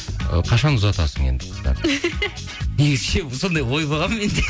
ы қашан ұзатасың енді негізі ше сондай ой болған менде